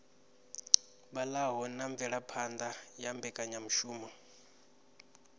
vhalaho na mvelaphana ya mbekanyamushumo